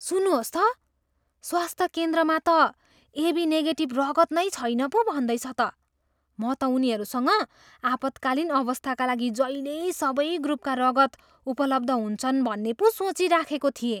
सुन्नुहोस् त, स्वास्थ्य केन्द्रमा त एबी निगेटिभ रगत नै छैन पो भन्दैछ त। म त उनीहरूसँग आपत्कालीन अवस्थाका लागि जहिल्यै सबै ग्रुपका रगत उपलब्ध हुन्छन् भन्ने पो सोचिराखेको थिएँ।